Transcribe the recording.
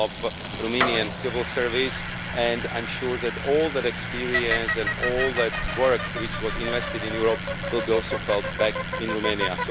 by the Romanian civil service and I'm sure that all that experience and all that work, which was invested in Europe, will also be felt back in Romania.